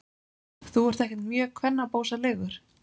Þú ert ekkert mjög kvennabósalegur.